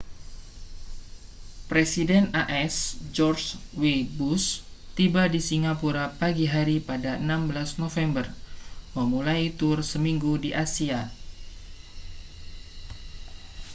presiden as george w bush tiba di singapura pagi hari pada 16 november memulai tur seminggu di asia